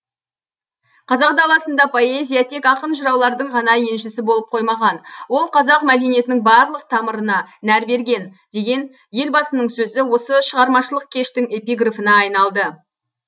қазақ даласында поэзия тек ақын жыраулардың ғана еншісі болып қоймаған ол қазақ мәдениетінің барлық тамырына нәр берген деген елбасының сөзі осы шығармашылық кештің эпиграфына айналды